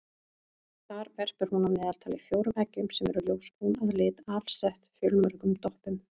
Þar verpir hún að meðaltali fjórum eggjum sem eru ljósbrún að lit alsett fjölmörgum doppum.